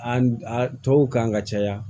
A a tɔw kan ka caya